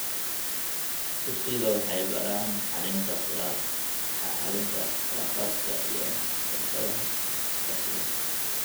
Dugsiyada waxay baraan xallinta khilaafaadka iyo xirfadaha iskaashiga.